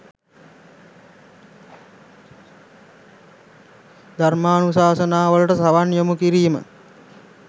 ධර්මානුශාසනාවලට සවන් යොමු කිරීම